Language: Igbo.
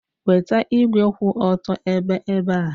Weta igwe kwụ otu ebe ebe a.